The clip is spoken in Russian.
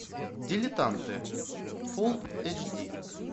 дилетанты фулл эйч ди